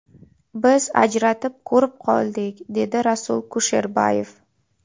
Biz ajratib, ko‘rib oldik”, – dedi Rasul Kusherbayev.